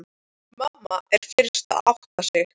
Mamma er fyrst að átta sig: